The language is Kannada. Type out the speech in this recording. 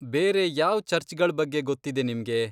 ಬೇರೆ ಯಾವ್ ಚರ್ಚ್ಗಳ್ ಬಗ್ಗೆ ಗೊತ್ತಿದೆ ನಿಮ್ಗೆ?